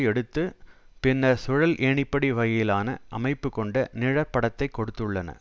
எடுத்து பின்னர் சுழல் ஏணிப்படி வகையிலான அமைப்பு கொண்ட நிழற்படத்தைக் கொடுத்துள்ளன